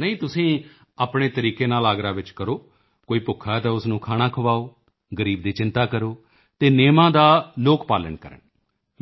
ਨਹੀਂ ਤੁਸੀਂ ਆਪਣੇ ਤਰੀਕੇ ਨਾਲ ਆਗਰਾ ਵਿੱਚ ਕਰੋ ਕੋਈ ਭੁੱਖਾ ਹੈ ਤਾਂ ਉਸ ਨੂੰ ਖਾਣਾ ਖਵਾਓ ਗ਼ਰੀਬ ਦੀ ਚਿੰਤਾ ਕਰੋ ਅਤੇ ਨਿਯਮਾਂ ਦਾ ਲੋਕ ਪਾਲਣ ਕਰਨ